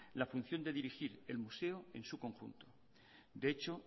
la función de dirigir el museo en su conjunto de hecho